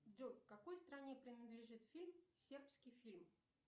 джой какой стране принадлежит фильм сербский фильм